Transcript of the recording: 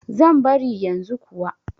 Zan bari yanzu kuwa.